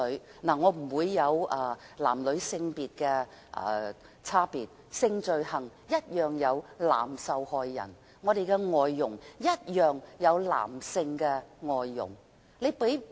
其實我不會理會性別上的差別，性罪行也會有男受害人，外傭也會有男性。